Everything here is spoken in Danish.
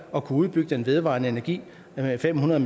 at kunne udbygge den vedvarende energi med fem hundrede